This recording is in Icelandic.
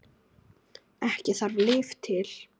Ekki þarf lyf til.